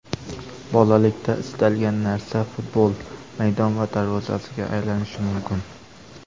Bolalikda istalgan narsa futbol maydon va darvozasiga aylanishi mumkin.